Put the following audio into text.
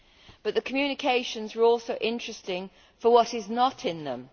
But the communications are also interesting for what is not in them.